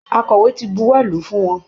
Akọ̀wé ti buwọ́ lù ú fún wọn